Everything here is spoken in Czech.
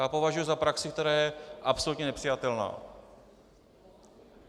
To považuji za praxi, která je absolutně nepřijatelná.